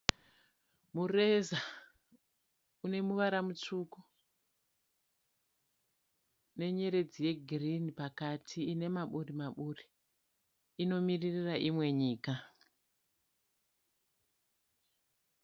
Mureza une muvara rutsvuku nenyeredzi yegirinhi iri pakati ine maburi maburi. Inomiririra imwe nyika.